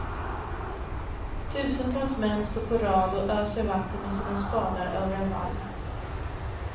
Tusentals män står på rad och öser vatten med sina spadar över en vall.